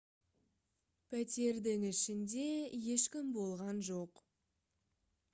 пәтердің ішінде ешкім болған жоқ